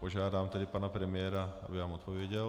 Požádám tedy pana premiéra, aby vám odpověděl.